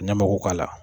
Ɲamaku k'a la